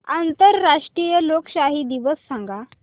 आंतरराष्ट्रीय लोकशाही दिवस सांगा